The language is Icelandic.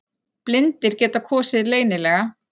Blindir geta kosið leynilega